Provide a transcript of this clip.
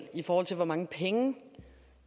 i forhold til hvor mange penge